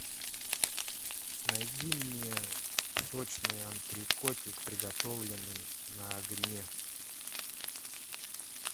найди мне сочный антрекотик приготовленный на огне